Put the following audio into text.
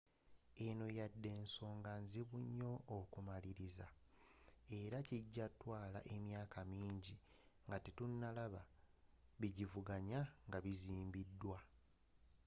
eno wadde nsonga nzibu nnyo okumaliriza era ejja kutwaala emyaka minji nga tetunalaba bigisvuganya nga bizimbiwa